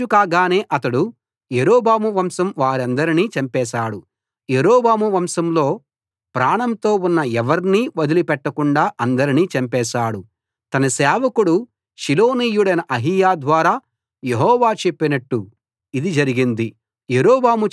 తాను రాజు కాగానే అతడు యరొబాము వంశం వారందరినీ చంపేశాడు యరొబాము వంశంలో ప్రాణంతో ఉన్న ఎవర్నీ వదిలి పెట్టకుండా అందరినీ చంపేశాడు తన సేవకుడు షిలోనీయుడైన అహీయా ద్వారా యెహోవా చెప్పినట్టు ఇది జరిగింది